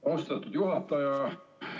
Austatud juhataja!